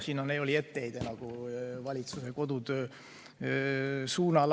See oli etteheide valitsuse kodutöö pihta.